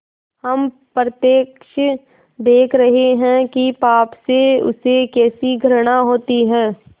हम प्रत्यक्ष देख रहे हैं कि पाप से उसे कैसी घृणा होती है